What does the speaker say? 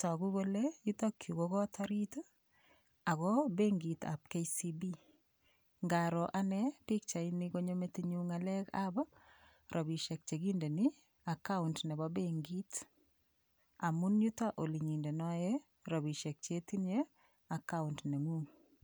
toku kole yutokyu ko kot orit oko benkitab KCB ngaro ane pikchaini konyo metinyu ng'alekab robishek chekindeni account nebo benkit amun yuto olenyindenoe robishek chetinye account neng'ung'